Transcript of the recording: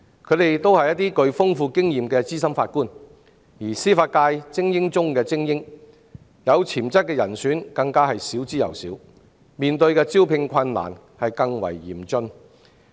他們均是具豐富經驗的資深法官，是司法界精英中的精英，有潛質的人選更少之又少，招聘難上加難。